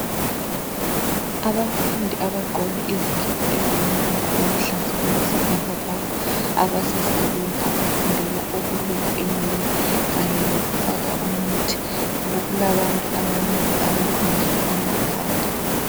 Abafundi abagqoke izikipa ezilombala oluhlaza okwesibhakabhaka abasesaluni abafundela ukweluka inwele kanye lokufaka umuthi. Kulabantu abanengi abalungiswa amakhanda